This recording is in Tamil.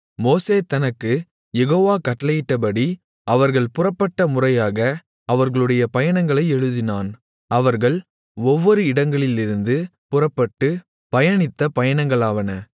மோசே தனக்குக் யெகோவா கட்டளையிட்டபடி அவர்கள் புறப்பட்ட முறையாக அவர்களுடைய பயணங்களை எழுதினான் அவர்கள் ஒவ்வொரு இடங்களிலிருந்து புறப்பட்டு பயணித்த பயணங்களாவன